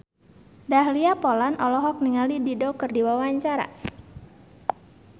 Dahlia Poland olohok ningali Dido keur diwawancara